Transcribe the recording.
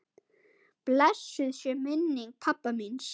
Blessuð sé minning pabba míns.